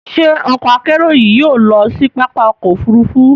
Ṣé ọkọ-akerò yìí yóò lọ si pápá ọkọ̀ òfurufú?